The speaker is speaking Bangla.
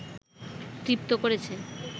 তৃপ্ত করেছে